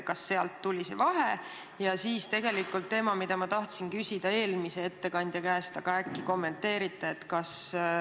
Ja ehk kommenteerite ka teemat, mida ma tahtsin küsida eelmise ettekandja käest.